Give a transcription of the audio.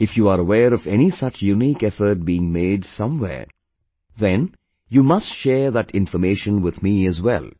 If you are aware of any such unique effort being made somewhere, then you must share that information with me as well